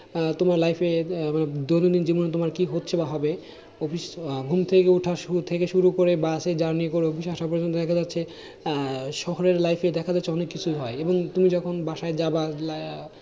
আর শহরের life এ দেখা যাচ্ছে অনেক কিছুই হয় এবং তুমি যখন বাসায় যাবা